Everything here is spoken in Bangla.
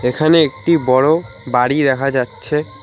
এখানে একটি বড় বাড়ি দেখা যাচ্ছে।